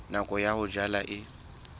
nako ya ho jala e